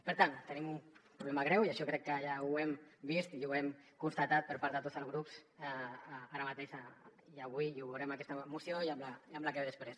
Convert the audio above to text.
per tant tenim un problema greu i això crec que ja ho hem vist i ho hem constatat per part de tots els grups ara mateix i avui ho veurem en aquesta moció i en la que ve després